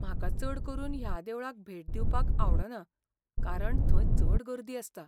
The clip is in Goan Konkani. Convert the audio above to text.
म्हाका चड करून ह्या देवळांक भेट दिवपाक आवडना कारण थंय चड गर्दी आसता.